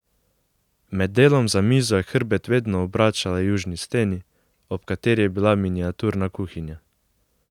Med delom za mizo je hrbet vedno obračala južni steni, ob kateri je bila miniaturna kuhinja.